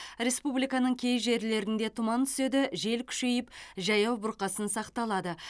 республиканың кей жерлерінде тұман түседі жел күшейіп жаяу бұрқасын сақталады